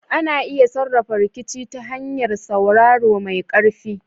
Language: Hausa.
Ana iya sarrafa rikici ta hanyar sauraro mai ƙarfi.